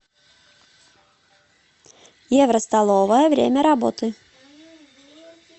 евростоловая время работы